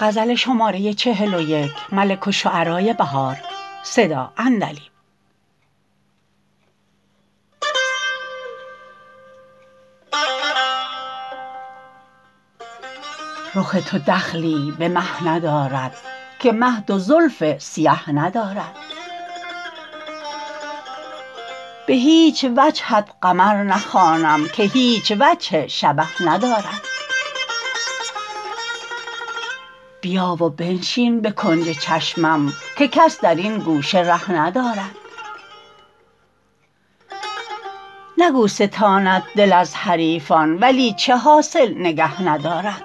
رخ تو دخلی به مه ندارد که مه دو زلف سیه ندارد به هیچ وجهت قمر نخوانم که هیچ وجه شبه ندارد بیا و بنشین به کنج چشمم که کس در این گوشه ره ندارد نکو ستاند دل از حریفان ولی چه حاصل نگه ندارد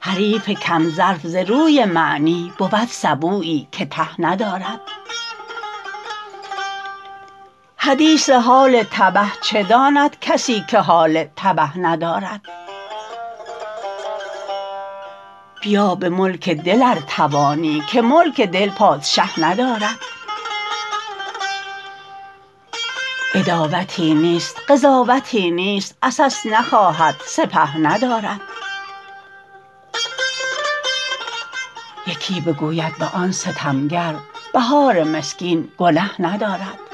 حریف کم ظرف ز روی معنی بود سبویی که ته ندارد حدیث حال تبه چه داند کسی که حال تبه ندارد بیا به ملک دل ار توانی که ملک دل پادشه ندارد عداوتی نیست قضاوتی نیست عسس نخواهد سپه ندارد یکی بگوید به آن ستمگر بهار مسکین گنه ندارد